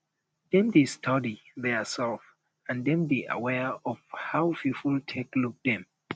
dem dey study theirself and dem dey aware of how pipo take look dem